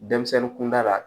Denmisɛnnin kunda la